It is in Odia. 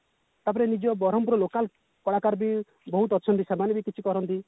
ତାପରେ ନିଜ ବରମପୁର ଲୋକାଲ କଳାକାର ବି ବହୁତ ଅଛନ୍ତି ସେମାନେ ବି କିଛି କରନ୍ତି